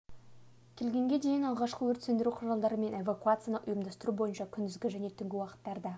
келгенге дейін алғышқы өрт сөндіру құралдарын қолдану мен эвакуацияны ұйымдастыру бойынша күндізгі және түнгі уақыттарда